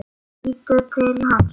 Lítur til hans.